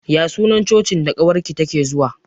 Ya sunan Cocin da ƙawar ki take zuwa?